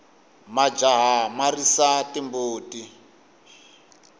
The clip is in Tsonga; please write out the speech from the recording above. majaha ya risa timbuti